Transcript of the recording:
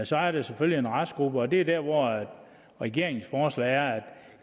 så er der selvfølgelig en restgruppe og det er der hvor regeringens forslag er at